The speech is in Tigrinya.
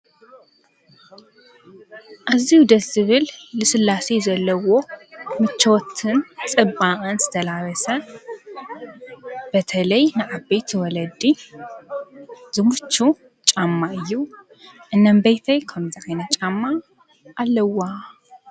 ኣዝዩ ደስ ዝብል ልስላሴ ዘለዎ ምቾትን ጽባቀን ዝተላበሰ በተላይ ንዓበይቲ ወለዲ ዝምችዉ ጫማ እዩ። እኖምቤይተይ ከምዚ ዓይነት ጫማ ኣለዋ።